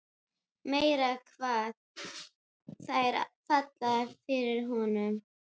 Meira hvað þær falla fyrir honum!